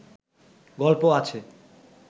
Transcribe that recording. গল্প আছে